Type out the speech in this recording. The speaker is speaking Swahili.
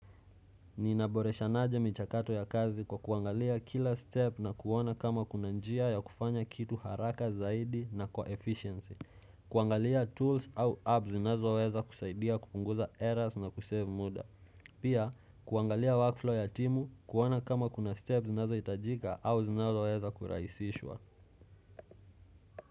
Ninaboreshanaje michakato ya kazi kwa kuangalia kila step na kuona kama kuna njia ya kufanya kitu haraka zaidi na kwa efficiency. Kuangalia tools au apps zinazoweza kusaidia kupunguza errors na kusave muda. Pia kuangalia workflow ya timu kuona kama kuna step zinazohitajika au zinazoweza kurahisishwa.